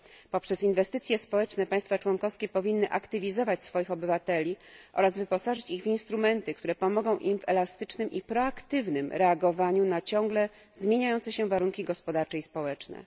Poprzez inwestycje społeczne państwa członkowskie powinny aktywizować swoich obywateli oraz wyposażyć ich w instrumenty, które pomogą im w elastycznym i proaktywnym reagowaniu na ciągle zmieniające się warunki gospodarcze i społeczne.